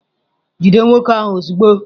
Jide nwoke ahụ ozugbo!